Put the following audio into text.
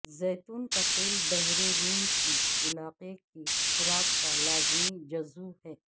زیتون کا تیل بحیرہ روم کے علاقے کی خوراک کا لازمی جزو ہے